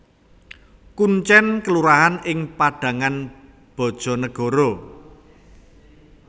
Kuncèn kelurahan ing Padangan Bajanegara